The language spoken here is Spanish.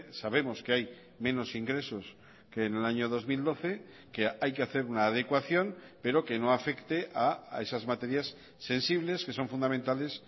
sabemos que hay menos ingresos que en el año dos mil doce que hay que hacer una adecuación pero que no afecte a esas materias sensibles que son fundamentales